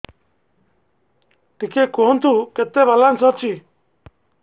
ଟିକେ କୁହନ୍ତୁ କେତେ ବାଲାନ୍ସ ଅଛି